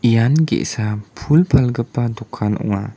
ian ge·sa pul palgipa dokan ong·a.